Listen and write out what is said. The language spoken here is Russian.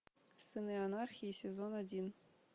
сыны анархии сезон один